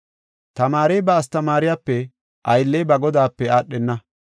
“Tamaarey ba astamaariyape, aylley ba godaape aadhenna.